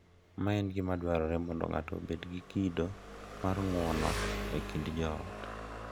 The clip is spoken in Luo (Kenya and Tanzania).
Ma en gima dwarore mondo ng’ato obed gi kido mar ng’uono e kind joot.